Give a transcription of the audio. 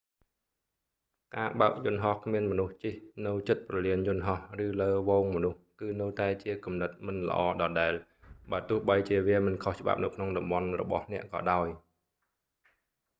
ការបើកយន្តហោះគ្មានមនុស្សជិះនៅជិតព្រលានយន្តហោះឬលើហ្វូងមនុស្សគឺនៅតែជាគំនិតមិនល្អដដែល បើទោះបីជាវាមិនខុសច្បាប់នៅក្នុងតំបន់របស់អ្នកក៏ដោយ